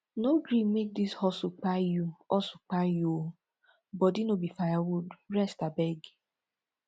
no gree make dis hustle kpai you hustle kpai you o body no be firewood rest abeg